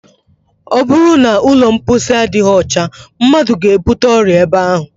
Ọ bụrụ na ụlọ mposi adịghị ọcha, mmadụ ga- ebute ọrịa ebe ahụ